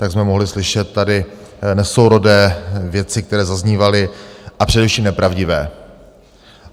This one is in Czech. Tak jsme mohli slyšet tady nesourodé věci, které zaznívaly, a především nepravdivé.